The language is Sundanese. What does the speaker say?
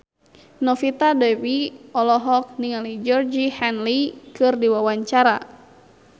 Novita Dewi olohok ningali Georgie Henley keur diwawancara